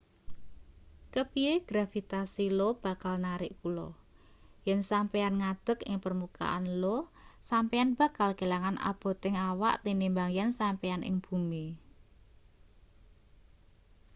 kepiye gravitasi io bakal narik kula yen sampeyan ngadeg ing permukaan io sampeyan bakal kelangan aboting awak tinimbang yen sampeyan ing bumi